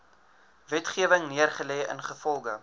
wetgewing neergelê ingevolge